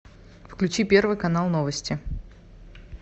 включи первый канал новости